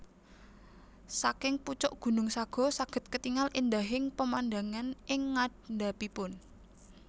Saking pucuk gunung Sago saged ketingal endahing pemandangan ing ngandhapipun